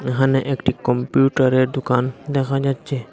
এখানে একটি কম্পিউটারের দুকান দেখা যাচ্ছে।